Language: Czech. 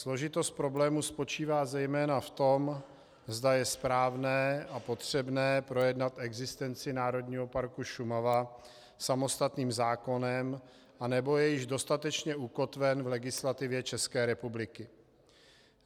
Složitost problému spočívá zejména v tom, zda je správné a potřebné projednat existenci Národního parku Šumava samostatným zákonem, anebo je již dostatečně ukotven v legislativě České republiky.